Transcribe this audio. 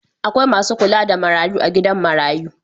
Akwai masu kula da marayu a gidan marayu